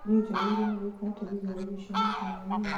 niĩ njagĩrĩirwo nĩ gũika atĩa thutha wa irio cia mũthenya ũmũthĩ